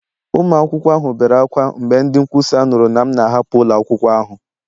Ụmụ akwụkwọ ahụ bere ákwá mgbe ndị nkwusa nụrụ na m na-ahapụ ụlọ akwụkwọ ahụ